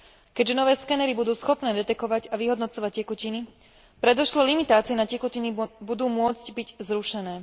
Keďže nové skenery budú schopné detekovať a vyhodnocovať tekutiny, predošlé limitácie na tekutiny budú môcť byť zrušené.